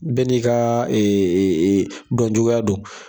Bɛɛ n'i ka dɔn cogoya don.